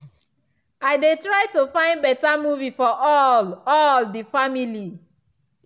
i dey try to find beta movie for all all the family.